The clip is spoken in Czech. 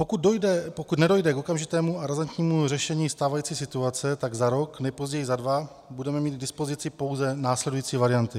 Pokud nedojde k okamžitému a razantnímu řešení stávající situace, tak za rok, nejpozději za dva, budeme mít k dispozici pouze následující varianty.